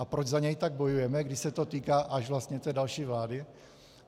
A proč za něj tak bojujeme, když se to týká až vlastně té další vlády?